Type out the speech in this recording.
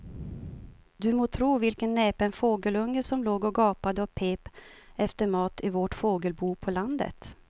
Du må tro vilken näpen fågelunge som låg och gapade och pep efter mat i vårt fågelbo på landet.